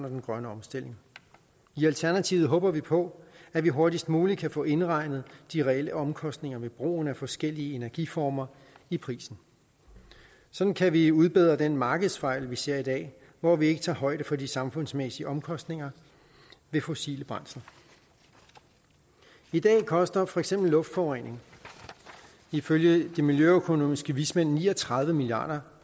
den grønne omstilling i alternativet håber vi på at vi hurtigst muligt kan få indregnet de reelle omkostninger ved brugen af forskellige energiformer i prisen sådan kan vi udbedre den markedsfejl vi ser i dag hvor vi ikke tager højde for de samfundsmæssige omkostninger ved fossile brændsler i dag koster for eksempel luftforurening ifølge de miljøøkonomiske vismænd ni og tredive milliard